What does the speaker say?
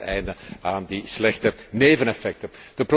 En we maken een einde aan die slechte neveneffecten.